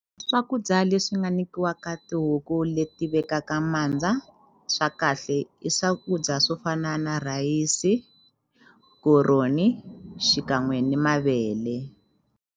Swakudya leswi nga nyikiwaka tihuku leti vekaka mandza swa kahle i swakudya swo fana na rhayisi koroni xikan'we ni mavele.